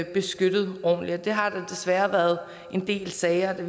beskyttet ordentligt det har der desværre været en del sager der